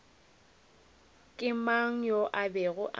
ke mang yo a bego